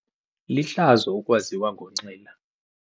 Lihlazo ukwaziwa ngokunxila.